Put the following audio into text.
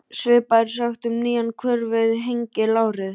Svipað er sagt um nýjan hver við Hengil árið